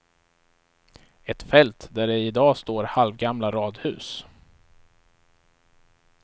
Ett fält där det i dag står halvgamla radhus.